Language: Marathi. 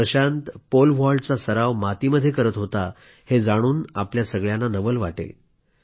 प्रशांत पोल व्हॉल्टचा सराव मातीमध्ये करत होता हे जाणून आपल्या सर्वांना नवल वाटेल